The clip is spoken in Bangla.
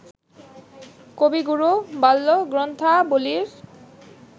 কবিগুরু বাল্য গ্রন্থাবলীর